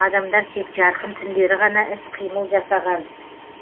адамдар тек жарқын күндері ғана іс қимыл жасаған